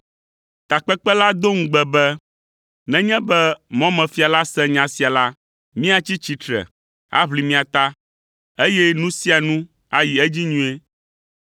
Takpekpe la do ŋugbe be, “Nenye be mɔmefia la se nya sia la, míatsi tsitre aʋli mia ta, eye nu sia nu ayi edzi nyuie.”